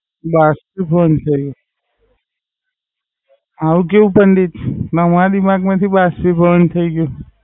બાષ્પીભવન થાય ગયું. આમ કેવું પંડિત નવા ની વાત માંથી બાષ્પીભવન થઈ ગયું